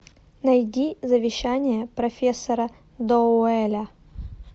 найди завещание профессора доуэля